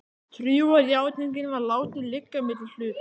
Trúarjátningin var látin liggja milli hluta.